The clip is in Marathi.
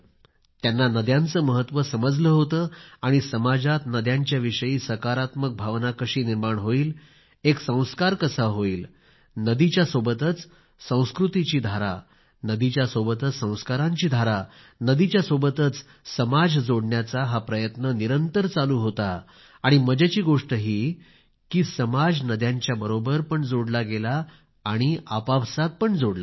त्यांना नद्यांचे महत्त्व समजले होते आणि समाजात नद्यांच्याविषयी सकारात्मक भावना कशी निर्माण होईल एक संस्कार कसा होईल नदीच्या सोबतच संस्कृतीची धारा नदीच्या सोबतच संस्कारांची धारा नदीच्या सोबतच समाज जोडण्याचा हा प्रयत्न निरंतर चालू होता आणि मजेची गोष्ट ही कि समाज नद्यांच्या बरोबर पण जोडला गेला आणि आपापसात पण जोडला गेला